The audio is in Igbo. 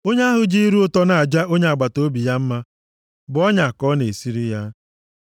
Onye ahụ ji ire ụtọ na-aja onye agbataobi ya mma bụ ọnya ka ọ na-esiri ya.